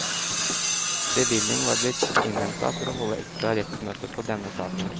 Bevilling var blitt innhenta for å holde ekstra rettsmøte på denne saken.